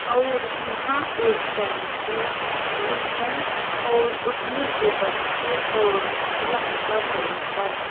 और यहां एक टेंपो भी है और उसमें से बच्चे और महिला उतर रहे हैं।